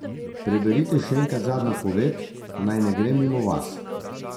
Preberite še enkrat zadnjo poved, naj ne gre mimo vas.